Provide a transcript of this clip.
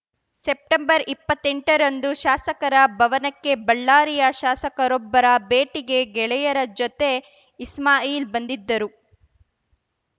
ಸೆಪ್ಟೆಂಬರ್ಇಪ್ಪತ್ತೆಂಟರಂದು ಶಾಸಕರ ಭವನಕ್ಕೆ ಬಳ್ಳಾರಿಯ ಶಾಸಕರೊಬ್ಬರ ಭೇಟಿಗೆ ಗೆಳೆಯರ ಜೊತೆ ಇಸ್ಮಾಯಿಲ್‌ ಬಂದಿದ್ದರು